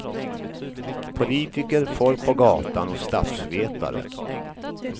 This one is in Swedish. Politiker, folk på gatan och statsvetare.